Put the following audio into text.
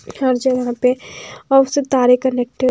हर जगह पे और उससे तारें कनेक्टड --